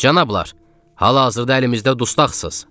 Canablar, hal-hazırda əlimizdə dustaqsız.